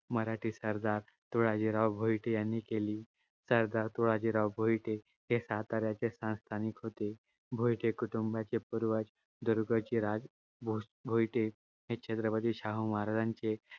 मराठी सरदार तुळाजीराव भोईटे यांनी केली. सरदार तुळाजीराव भोईटे हे साताऱ्याचे संस्थानिक होते. भोईटे कुटूंबाचे पूर्वज दुरदुर्गोजी राज भोईटे हे छत्रपती शाहू महाराजांचे